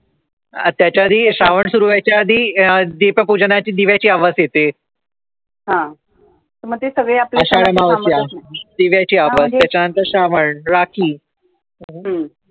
त्याच्याआधी, श्रावण सुरु होण्याच्या आधी दीपपूजनाची दिव्याची आवास येते त्याच्यानंतर श्रावण, राखी